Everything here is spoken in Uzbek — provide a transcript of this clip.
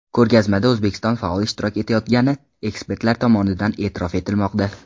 Ko‘rgazmada O‘zbekiston faol ishtirok etayotgangani ekspertlar tomonidan e’tirof etilmoqda.